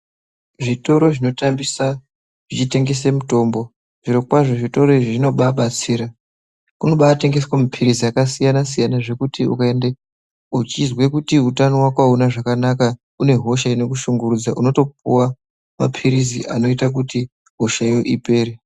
Zvinotoro zvinotambisa zvichitengese mutombo zvirokwazvo zvitoro izvi zvinobaabatsira. Kunobaatengeswe maphirizi akasiyana-siyana zvekuti ukaendako uchizwe kuti utano wako hauna zvakanaka, unehosha inokushungurudza. Unotopuwa maphirizi anoita kuti hoshayo ipere.